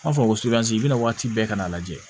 An b'a fɔ ko bɛna waati bɛɛ ka n'a lajɛ